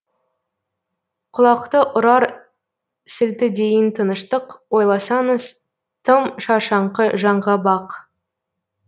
құлақты ұрар сілтідейін тыныштық ойласаңыз тым шаршаңқы жаңға бақ